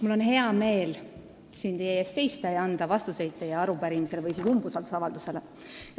Mul on hea meel siin teie ees seista ja anda vastuseid teie umbusaldusavaldusele.